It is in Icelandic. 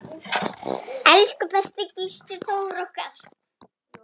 Elsku besti Gísli Þór okkar.